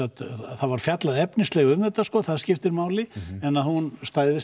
það var fjallað efnislega um þetta sko það skiptir máli en að hún stæðist